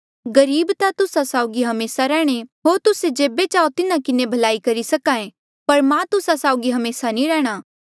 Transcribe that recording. गरीब ता तुस्सा साउगी हमेसा रैहणे होर तुस्से जेबे चाहो तेबे तिन्हा किन्हें भलाई करी सक्हा ऐें पर मां तुस्सा साउगी हमेसा नी रैहणां